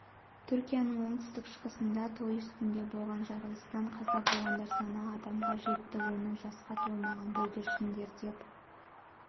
түркияның оңтүстік-шығысында той үстінде болған жарылыстан қаза болғандар саны адамға жетті оның жасқа толмаған бүлдіршіндер деп